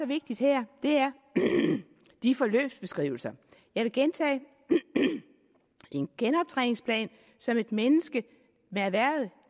vigtigt her er de forløbsbeskrivelser jeg vil gentage en genoptræningsplan som et menneske med erhvervet